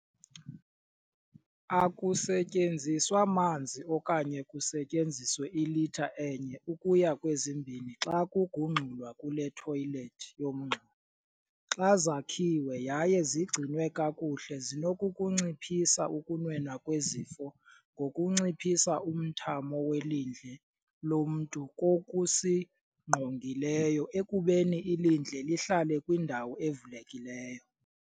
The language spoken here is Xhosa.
Akusetyenziswa manzi okanye kusetyenziswe ilitha enye ukuya kwezimbini xa kugungxulwa kule thoyilethi yomngxuma. Xa zakhiwe yaye zigcinwe kakuhle zinokukunciphisa ukunwenwa kwezifo ngokunciphisa umthamo welindle lomntu kokusingqongileyo ekubeni ilindle lihlale kwindawo evulekileyo.